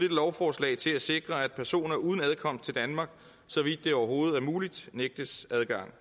lovforslag til at sikre at personer uden adkomst til danmark så vidt det overhovedet er muligt nægtes adgang